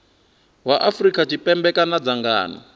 wa afrika tshipembe kana dzangano